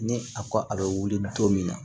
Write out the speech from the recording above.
Ni a ko a bɛ wuli don min na